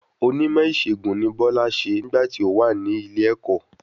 Oní ìmọ̀ ìṣẹ̀gùn ni Bola ṣe nígbà tí o wa nílé ẹ̀kọ́